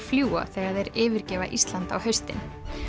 fljúga þegar þeir yfirgefa Ísland á haustin